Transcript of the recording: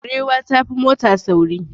Barewa ta fi mota sauri.